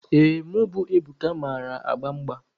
Ee, mụ bụ Ebuka mara agba mgba.